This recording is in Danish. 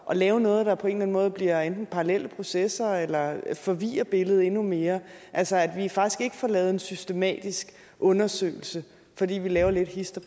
at lave noget der på en eller anden måde bliver enten parallelle processer eller forvirrer billedet endnu mere altså at vi faktisk ikke får lavet en systematisk undersøgelse fordi vi laver lidt hist